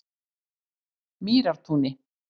Mýrartúni